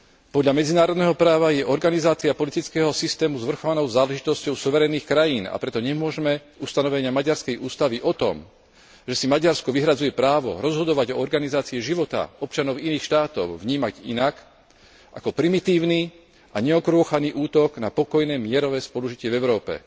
Podľa medzinárodného práva je organizácia politického systému zvrchovanou záležitosťou suverénnych krajín, a preto nemôžme ustanovenia maďarskej ústavy o tom, že si Maďarsko vyhradzuje právo rozhodovať o organizácii života občanov iných štátov, vnímať inak, ako primitívny a neokrôchaný útok na pokojné mierové spolužitie v Európe.